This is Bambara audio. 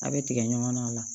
A' bɛ tigɛ ɲɔgɔn na o la